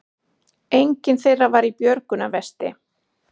Enginn þeirra var í björgunarvesti